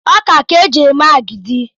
Ọkà ka eji eme agidi.